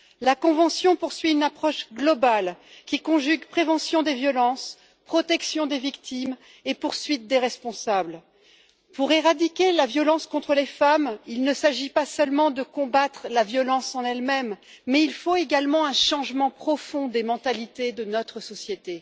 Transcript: La convention poursuit une approche globale qui conjugue prévention des violences, protection des victimes et poursuite des responsables. Pour éradiquer la violence contre les femmes, il ne s'agit pas seulement de combattre la violence en elle même, mais il faut également un changement profond des mentalités de notre société.